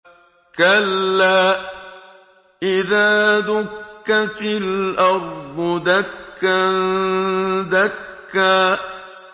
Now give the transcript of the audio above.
كَلَّا إِذَا دُكَّتِ الْأَرْضُ دَكًّا دَكًّا